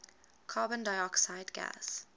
carbon dioxide gas